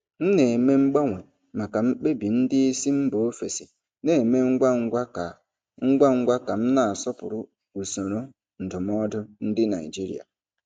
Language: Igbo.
M na-eme mgbanwe maka mkpebi ndị isi mba ofesi na-eme ngwa ngwa ka ngwa ngwa ka m na-asọpụrụ usoro ndụmọdụ ndị Naijiria.